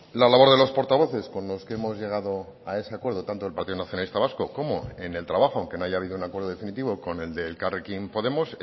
la labor de los portavoces con los que hemos llegado a ese acuerdo tanto el partido nacionalista vasco como en el trabajo aunque no haya habido un acuerdo definitivo con el de elkarrekin podemos